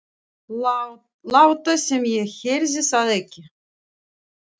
Láta sem ég heyrði það ekki.